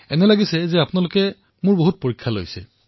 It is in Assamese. এনেকুৱা অনুভৱ হয় যেন মই পৰীক্ষাত অৱতীৰ্ণ হৈছো